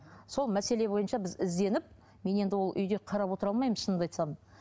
сол мәселе бойынша біз ізденіп мен енді ол үйде қарап отыра алмаймын шынымды айтсам